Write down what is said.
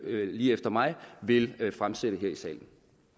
lige efter mig vil fremsætte her i salen